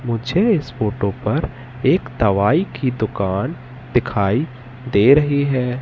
मुझे इस फोटो पर एक दवाई की दुकान दिखाई दे रही है।